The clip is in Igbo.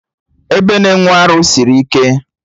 Ebe na-enwe arụ sịrị ike